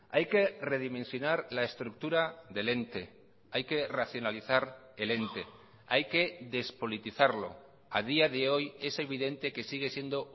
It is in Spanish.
hay que redimensionar la estructura del ente hay que racionalizar el ente hay que despolitizarlo a día de hoy es evidente que sigue siendo